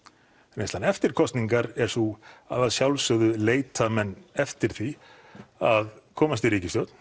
mig reynslan eftir kosningar er sú að sjálfsögðu leita menn eftir því að komast í ríkisstjórn